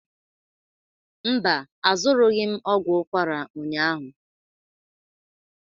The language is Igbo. Mba, azụrụghị m ogwu ukwara ụnyahụ.